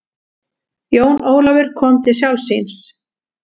Jón Ólafur kom til sjálfs sín.